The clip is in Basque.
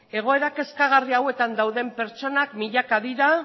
egoera kezkagarri hauetan dauden pertsonak milaka dira